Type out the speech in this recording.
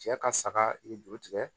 Cɛ ka saga i bɛ juru tigɛ